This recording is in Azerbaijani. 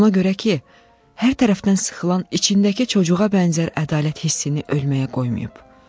Ona görə ki, hər tərəfdən sıxılan içindəki çocuğa bənzər ədalət hissini ölməyə qoymayıb.